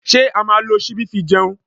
Ṣé a máa lo ṣíbí fi jẹun?